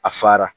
A fara